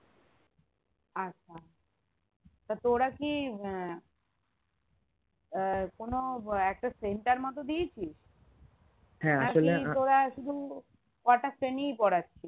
আচ্ছা তা তোরা কি আহ আহ কোনো একটা center মতো দিয়েছিস তোরা শুধু কটা শ্রেণী পড়াচ্ছিস